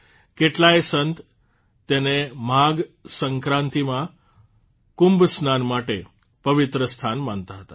કેટલાય સંત તેને માઘ સંક્રાંતિમાં કુંભ સ્નાન માટે પવિત્ર સ્થાન માનતા હતા